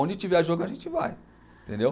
Onde tiver jogo, a gente vai, entendeu?